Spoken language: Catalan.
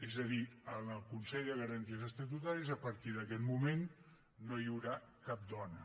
és a dir en el consell de garanties estatutàries a partir d’aquest moment no hi haurà cap dona